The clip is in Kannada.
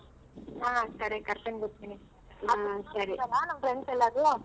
ಹ ಸರಿ ಕರ್ಕೊಂಡ್ ಬರ್ತೀನಿ. ನಮ್ friends ಎಲ್ಲರೂ.